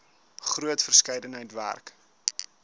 groot verskeidenheid werk